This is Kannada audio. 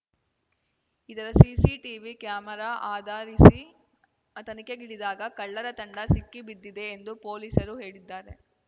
ಇದರ ಸಿಸಿಟಿವಿ ಕ್ಯಾಮೆರಾ ಆಧರಿಸಿ ತನಿಖೆಗಿಳಿದಾಗ ಕಳ್ಳರ ತಂಡ ಸಿಕ್ಕಿಬಿದ್ದಿದೆ ಎಂದು ಪೊಲೀಸರು ಹೇಳಿದ್ದಾರೆ